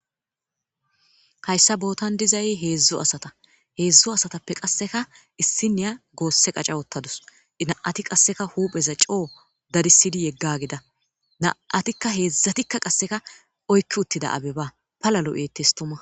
Hayssa bootan dizzay heezhzhu asata heezhzhu asatappeka qasseka issiniya gosse qacca uttadusu na7atkika qasseka huphpheza coo dadissidi yedagida na'ttika heezhzhatika qasseka oykki uttida abeba palla lo7ettes tuuma.